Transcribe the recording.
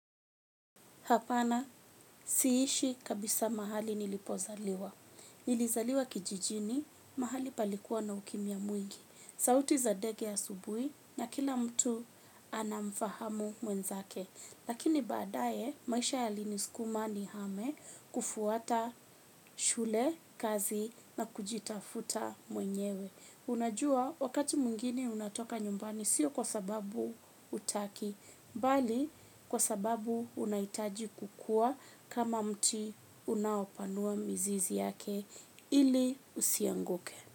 Hapana, siishi kabisa mahali nilipozaliwa. Nilizaliwa kijijini, mahali palikuwa na ukimya mwingi. Sauti za ndege asubuhi na kila mtu anamfahamu mwenzake. Lakini baadaye, maisha yalinisukuma nihame kufuata shule, kazi na kujitafuta mwenyewe. Unajua, wakati mwingine unatoka nyumbani siyo kwa sababu hutaki bali kwa sababu unahitaji kukua kama mti unaopanua mizizi yake ili isianguke.